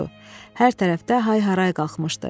Hər tərəfdə hay-haray qalxmışdı.